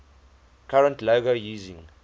current logo using